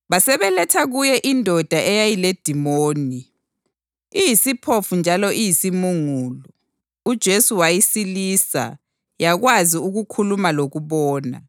Basebeletha kuye indoda eyayiledimoni, iyisiphofu njalo iyisimungulu. UJesu wayisilisa yakwazi ukukhuluma lokubona.